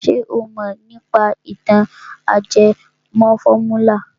Ṣé o mọ̀ nípa ìtàn ajẹmọ fọ́múlà?